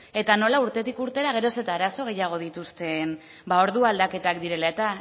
eta nola urtetik urtera geroz eta eraso gehiago dituzten ordu aldaketak direla eta